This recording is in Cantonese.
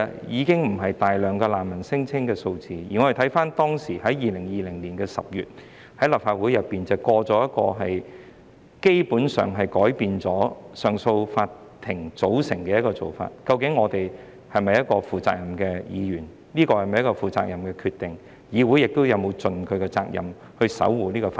因此，當難民聲請不再那麼多，而立法會卻通過了一項從根本上改變上訴法庭組成的修訂，我們是否負責任的議員，這是否一個負責任的決定，議會又是否已盡其責任守護法治？